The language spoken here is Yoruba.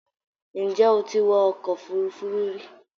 Ǹjẹ́ o ti wọ ọkọ̀ òfuurufú rí?